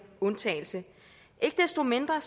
undtagelse ikke desto mindre